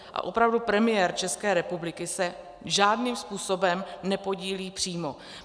A opravdu, premiér České republiky se žádným způsobem nepodílí přímo.